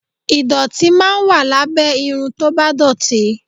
Ìdọ̀tí máa ń wà lábẹ́ irun tó bá dọ̀tí